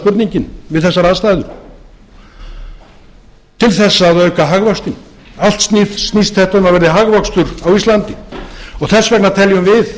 spurningin við þessar aðstæður til þess að auka hagvöxtinn allt snýst þetta um að það verði hagvöxtur á íslandi og þess vegna teljum við